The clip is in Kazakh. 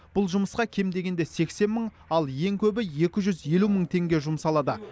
бұл жұмысқа кем дегенде сексен мың ал ең көбі екі жүз елу мың теңге жұмсалады